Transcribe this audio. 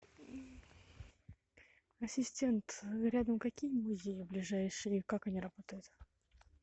ассистент рядом какие музеи ближайшие и как они работают